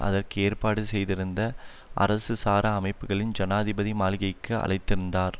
அதற்கு ஏற்பாடு செய்திருந்த அரசுசாரா அமைப்புக்களை ஜனாதிபதி மாளிகைக்கு அழைத்திருந்தார்